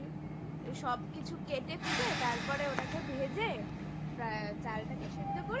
সবকিছু কেটেকুটে তারপরে ওটাকে ভেজে প্রায় চালটাকে সিদ্ধ করে